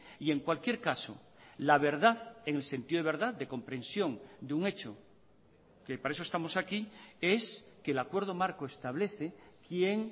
y en cualquier caso la verdad en el sentido de verdad de comprensión de un hecho que para eso estamos aquí es que el acuerdo marco establece quién